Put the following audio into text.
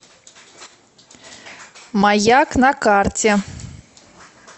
маяк на карте